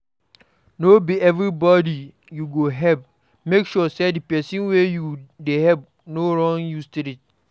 No be everybody you go help make sure say the persin wey you de help no run you street